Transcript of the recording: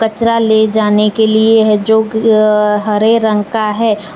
कचरा ले जाने के लिए है जो के अ हरे रंग का है।